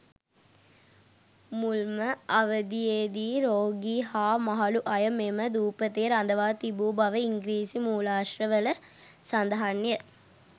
මුල්ම අවධියේදී රෝගී හා මහලූ අය මෙම දූපතේ රදවා තිබූ බව ඉංග්‍රීසි මූලාශ්‍ර වල සඳහන් ය.